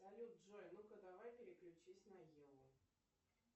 салют джой ну ка давай переключись на еву